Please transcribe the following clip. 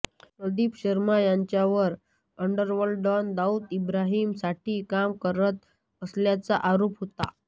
प्रदीप शर्मा यांच्यावर underworld don Dawood इब्राहिमसाठी काम करत असल्याचा आरोप होता